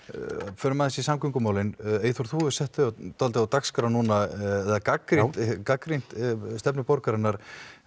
förum aðeins í samgöngumálin Eyþór þú hefur sett þau dálítið á dagskrá núna gagnrýnt gagnrýnt stefnu borgarinnar